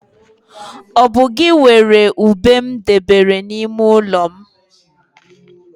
Ọ bu gị weere ube m debere n'ime ọnụ ụlọ m?